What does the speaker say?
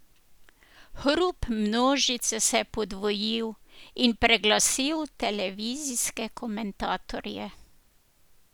Hrup množice se je podvojil in preglasil televizijske komentatorje.